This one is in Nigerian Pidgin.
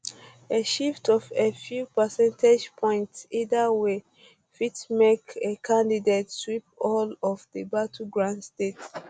a shift of a few percentage points either way fit make a a candidate sweep all of di battleground states